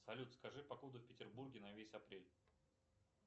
салют скажи погоду в петербурге на весь апрель